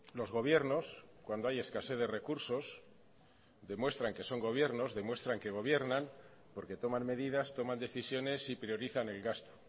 los gobiernos cuando hay escasez de recursos demuestran que son gobiernos demuestran que gobiernan porque toman medidas toman decisiones y priorizan el gasto